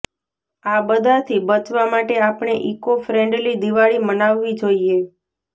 આ બધાથી બચવા માટે આપણે ઈકો ફ્રેન્ડલી દિવાળી મનાવવી જોઈએ